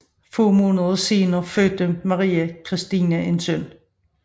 Få måneder senere fødte Maria Christina en søn